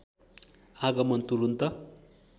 आगमन तुरुन्त